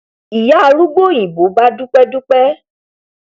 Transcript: ìyá arúgbó òyìnbó bá dúpẹ dúpẹ